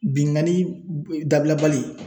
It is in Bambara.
Binnkanni dabila bali